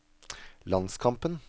landskampen